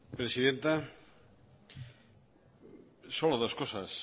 presidenta solo dos cosas